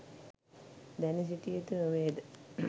දැන සිටිය යුතු නොවේ ද?